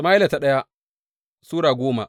daya Sama’ila Sura goma